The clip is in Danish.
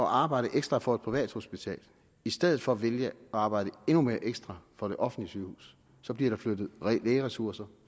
arbejde ekstra for et privathospital i stedet for at vælge at arbejde endnu mere ekstra for et offentligt sygehus så bliver der flyttet lægeressourcer